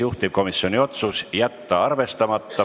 Juhtivkomisjoni otsus: jätta arvestamata.